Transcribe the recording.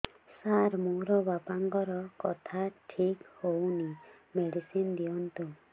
ସାର ମୋର ବାପାଙ୍କର କଥା ଠିକ ହଉନି ମେଡିସିନ ଦିଅନ୍ତୁ